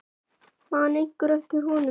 Man einhver eftir honum?